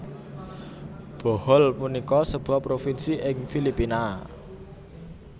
Bohol punika sebuah provinsi ing Filipina